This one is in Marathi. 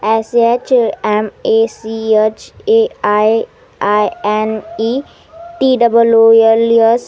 S H M A C H A I N E T O O L S --